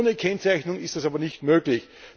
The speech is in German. Ohne Kennzeichnung ist das aber nicht möglich.